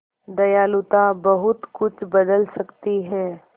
दयालुता बहुत कुछ बदल सकती है